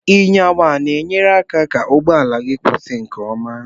Nyawa na enye aka ka ụgbọala gi kwụsi nke ọma.